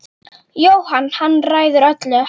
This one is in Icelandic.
Jóhann: Hann ræður öllu?